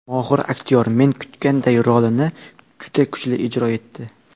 Mohir aktyor, men kutganday, rolini juda kuchli ijro etdi.